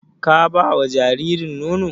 Ka ba wa jaririn nono?